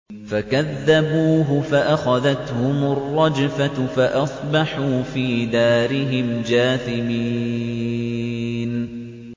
فَكَذَّبُوهُ فَأَخَذَتْهُمُ الرَّجْفَةُ فَأَصْبَحُوا فِي دَارِهِمْ جَاثِمِينَ